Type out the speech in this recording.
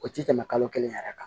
O tɛ tɛmɛ kalo kelen yɛrɛ kan